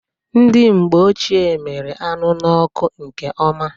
Ndị mgbe ochie miri anụ n'ọkụ nke ọma.